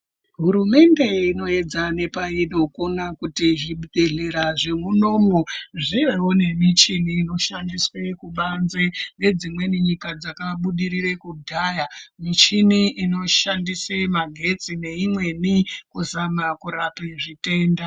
Hurumende inoyedza nepainokona kuti zvibhehlera zvemunomu zvivewo nemuchini inoshandiswe kubanze ngedzimweni nyika dzakabudirira kudhaya muchini inoshandise magetsi neimweni kuzama kurape matenda.